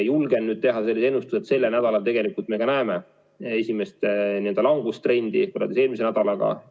Julgen teha ennustused, et sellel nädalal tegelikult me näeme esimest langustrendi võrreldes eelmise nädalaga.